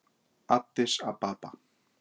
Addis Ababa